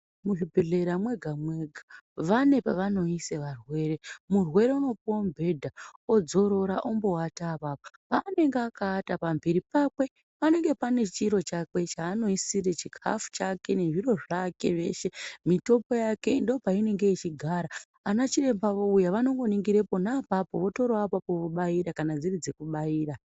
Muzvibhedhlera mwega mwega vane pavanoise murwere. Murwere kunopuwe mubhedha wombodzorora pona apapo. Paanenge akawata pamhiri pake panenge pane chiro chake chaanoisira chikhafu chake nezviro zvake. Mitombo yake ndoopainenge ichigara. Anachiremba ouya vanongoningira pona apapo vobaira kana dziri dzekubaira.